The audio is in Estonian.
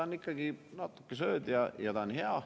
On ikkagi nii, et natuke sööd ja ta on hea.